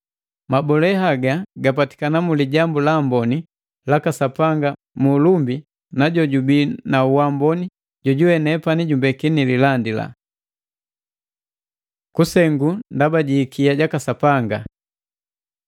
Mabolee haga gapatikana mu Lijambu la Amboni laka Sapanga mu ulumbi na jojubii na uamboni jojuwe nepani jumbeki nililandila. Kusengu ndaba ji ikia jaka Sapanga